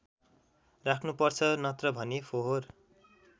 राख्नुपर्छ नत्रभने फोहोर